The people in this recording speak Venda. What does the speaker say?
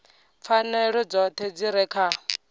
pfanelo dzoṱhe dzi re kha